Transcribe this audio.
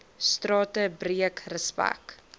strate breek respek